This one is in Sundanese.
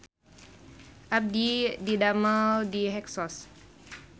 Abdi didamel di Hexos